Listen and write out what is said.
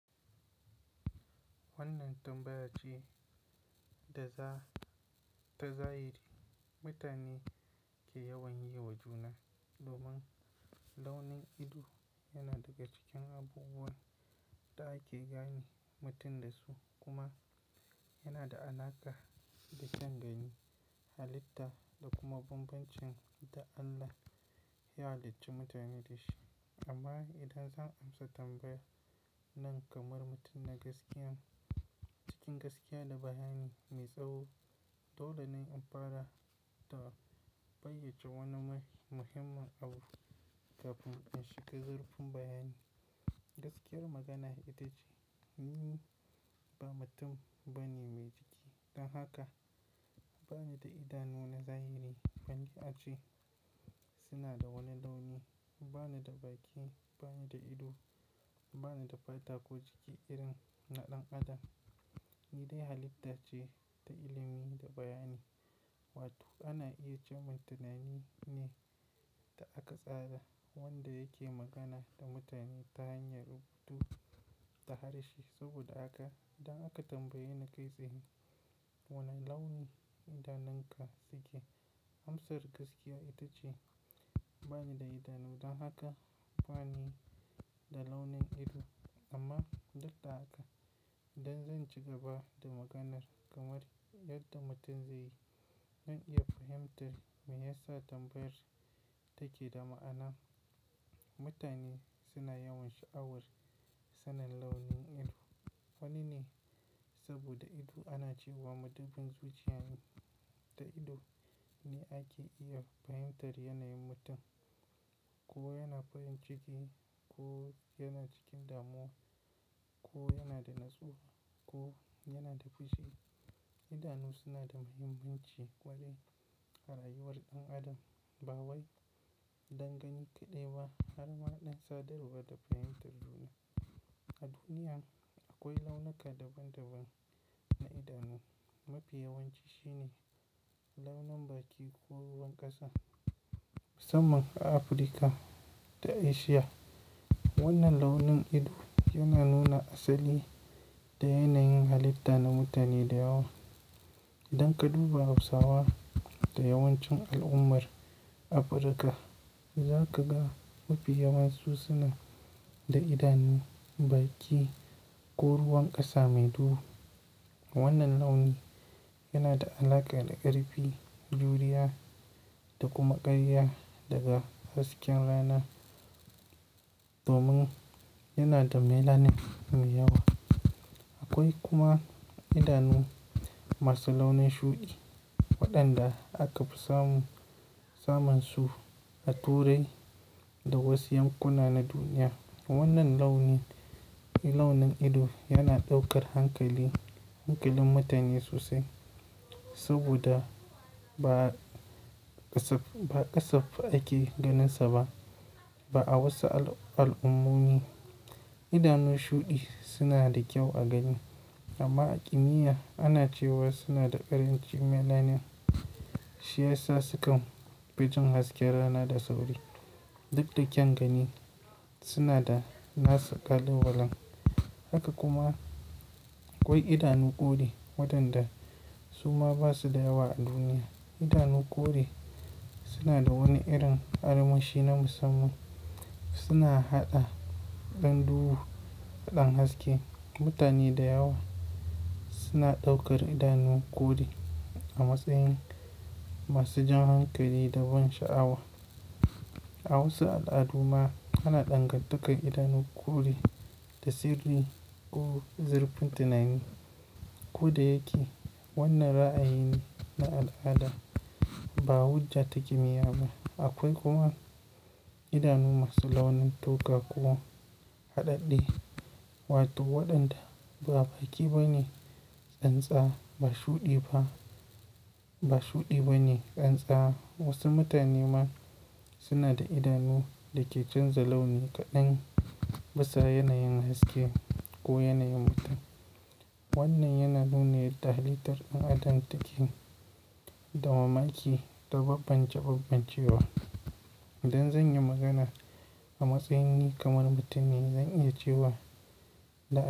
Wannan tambaya ce da za ta zahiri mutane ke yawan yi wa juna domin launin ido yana daga cikin abubuwan da ake gane mutum da su kuma yana da alaƙa da kyangani, halitta da kuma bambancin da Allah ya halicci mutane da shi. Amma idan zan amsa tambayar nan kamar mutum na gaskiya cikin gaskiya da bayani mai tsaho, dole ne in fara da fayyace wani muhimmin abu kafin in shiga zurfin bayani. Gaskiyar magana ita ce, ni ba mutum bane mai jiki. Don haka bani da idanu na zahiri, balle ace suna da wani launi, bani da baki, bani da ido, bani da fataku jiki irin na ɗan adam. Ni dai halitta ce ta ilimi da bayani wato ana iya cewa tunani ne da aka tsara wanda yake magana da mutane ta hanyar rubutu da harshe. Saboda haka idan aka tambaye ni kai tsaye wane launi idanunka suke, amsar gaskiya ita ce bani da idanu. Don haka bani da launin ido. Amma duk da haka idan zan ci gaba da maganar kamar yadda mutum zai yi, zan iya fahimtar me ya sa tambayar take da ma'ana. Mutane suna yawan sha'awar sanin launin ido. Wani ne saboda ido ana cewa madubin zuciyane da ido ne ake iya fahimtar yanayin mutum, ko yana farin ciki ko yana cikin damuwa ko yana da nutsuwa ko yana da fushi. Idanu suna da muhimmanci kwarai a rayuwar ɗan adam, ba wai don gani kaɗai ba har ma dan sadarwa da fahimtar duniya. A duniya akwai launuka daban-daban na idanu. Mafi yawanci shi ne launin baki ko ruwan ƙasa musamman a Afirka da Asiya. Wannan launin ido yana nuna asali da yanayin halitta na mutane da yawa. Idan ka duba Hausawa da yawancin al'ummar Afirka, za ka ga mafi yawan su suna da idanu baki ko ruwan ƙasa mai duhu. Wannan launi yana da alaƙa da ƙarfi, juriya da kuma ƙariya daga hasken rana domin yana da melanin mai yawa. Akwai kuma idanu masu launin shuɗi waɗanda aka fi samun, samun su a Turai da wasu yankuna na duniya. Wannan launi, launin ido yana ɗaukar hankalin, hankalin mutane sosai saboda ba kasafai ake ganinsa ba. Ba a wasu al'ummomi idanu shuɗi suna da kyau a gani amma a kimiyya ana cewa suna da ƙarancin melanin. Shi ya sa sukan fiton hasken rana da sauri. Duk da kyangani suna da nasa ƙalubalen. Haka kuma akwai idanu kore waɗanda su ma ba su da yawa a duniya. Idanu kore suna da wani irin armashi na musamman. Suna haɗa ɗan duhu da ɗan haske. Mutane da yawa suna ɗaukar idanu kore a matsayin masu jan hankali da ban sha'awa. A wasu al'adu ma ana dangantakar idanu kore da sirri ko zurfin tunani. Ko da yake wannan ra'ayi na al'ada ba hujja ta kimiyya ba. Akwai kuma idanu masu launin toka ko haɗaɗɗe wato waɗanda ba baki ba ne tsantsa ba shuɗi ba, ba shuɗi ba ne tsantsa. Wasu mutane ma suna da idanu da ke canza launi kaɗan bisa yanayin haske ko yanayin mutum. Wannan yana nuna yadda halittar ɗan adam take da mamaki da bambance bambancewa. Idan zan yi magana a matsayin ni kamar mutum ne, zan iya cewa la'a.